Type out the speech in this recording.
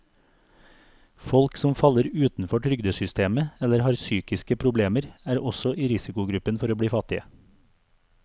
Folk som faller utenfor trygdesystemet eller har psykiske problemer, er også i risikogruppen for å bli fattige.